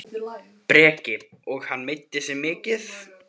Breki: Og meiddi hann sig mikið?